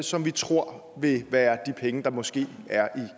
som vi tror vil være de penge der måske er